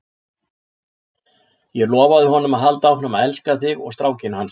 Ég lofaði honum að halda áfram að elska þig og strákinn hans.